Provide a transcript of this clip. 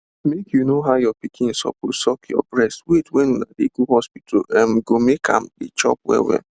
make you know how your pikin suppose suck your breast wait when una dey go hospital um go make am dey chop well well